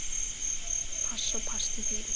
Pass og pass til þín.